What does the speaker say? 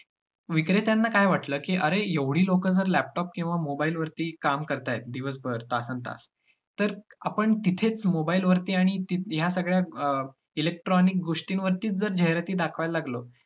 विक्रेत्यांना काय वाटलं की अरे एवढी लोकं जर laptop किंवा mobile वरती काम करतात दिवसभर तासन-तास तर आपण तिथेच mobile वरती आणि या सगळ्या अं electronic गोष्टींवरतीच जर जाहिराती दाखवायला लागलो,